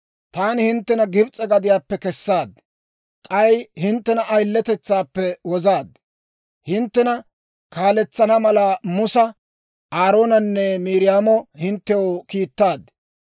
Taani hinttena Gibs'e gadiyaappe kessaad; k'ay hinttena ayiletetsaappe wozaad. Hinttena kaaletsana mala Musa, Aaroonanne Miiriyaamo hinttew kiittaad.